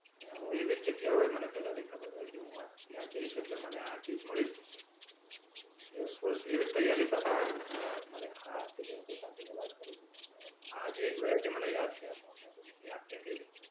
અને હું એવી જ જગ્યાઓએ મને પેલા થી ખબર હોય કે હું આ ત્યાં જઈશ એટલે મને આ ચીજ મળી જ જશે એટલે ફૂલ એવી જ તૈયારી સાથે જવું એટલે મને હા તે જેમકે કાજુ ની વાત કરી એમ આ જે એક વાત છે તે મને યાદ છે માઉન્ટ આબુ ની તે આ કેરી ની છે.